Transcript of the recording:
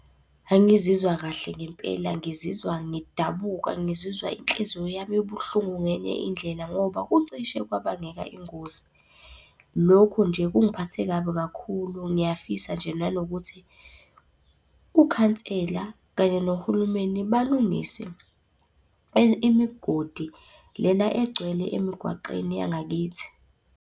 Angizizwa kahle ngempela ngizizwa ngidabuka, ngizizwa inhliziyo yami ibuhlungu ngenye indlela ngoba kucishe kwabangeka ingozi. Lokho nje kungiphathe kabi kakhulu ngiyafisa nje nanokuthi, ukhansela kanye nohulumeni balungise imigodi lena egcwele emigwaqeni yangakithi.